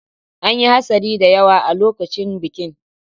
An yi hatsari da yawa a lokacin bikin.